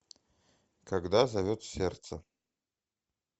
когда зовет сердце